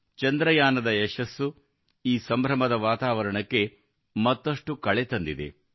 ಚಂದ್ರಯಾನದ ಯಶಸ್ಸು ಈ ಸಂಭ್ರಮದ ವಾತಾವರಣಕ್ಕೆ ಮತ್ತಷ್ಟು ಕಳೆ ತಂದಿದೆ